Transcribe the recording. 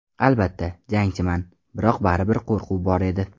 Albatta, jangchiman, biroq baribir qo‘rquv bor edi.